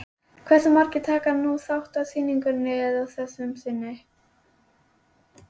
Hversu margir taka nú þátt í sýningunni að þessu sinni?